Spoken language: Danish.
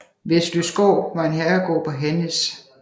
Vesløsgård var en herregård på Hannæs